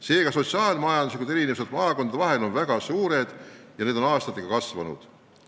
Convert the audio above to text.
Seega, sotsiaal-majanduslikud erinevused maakondade vahel on väga suured ja need on aastatega kasvanud.